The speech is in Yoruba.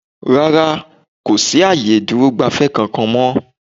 rá́rá, kò sí ààyè ìdúrò-gbafẹ́ kankan mọ́.